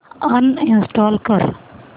uninstall कर